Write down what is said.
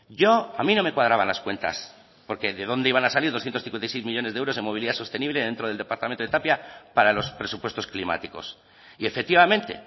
yo a mí no me cuadraban las cuentas porque de dónde iban a salir doscientos cincuenta y seis millónes de euros en movilidad sostenible dentro del departamento de tapia para los presupuestos climáticos y efectivamente